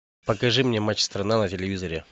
покажи мне матч страна на телевизоре